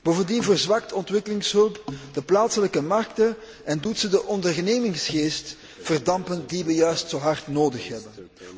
Bovendien verzwakt ontwikkelingshulp de plaatselijke markten en doet zij de ondernemingsgeest verdampen die wij juist zo hard nodig hebben.